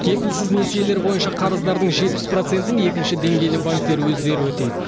кепілсіз несиелер бойынша қарыздардың жетпіс процентін екінші деңгейлі банктер өздері өтейді